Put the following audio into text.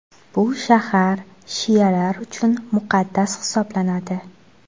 Bu shahar shialar uchun muqaddas hisoblanadi.